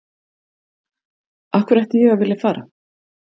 Af hverju ætti ég að vilja að fara?